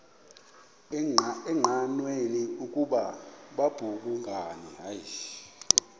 engqanweni ukuba babhungani